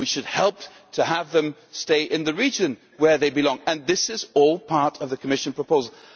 We should help them stay in the region where they belong. And this is all part of the Commission proposal.